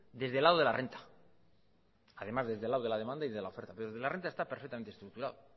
desde el lado de la renta además desde el lado de la demanda y de la oferta el de la renta está perfectamente estructurado